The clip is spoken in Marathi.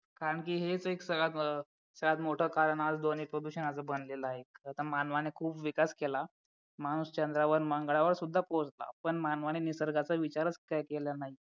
कारण की हेच एक सर्वात मोठं कारण आज ध्वनी प्रदूषणाचे बनलेलं आहे कारण मानवाने खूप विकास केला माणूस चंद्रावर मंगळावर सुद्धा पोहोचला पण मानवाने निसर्गाचा विचारच काही केला नाही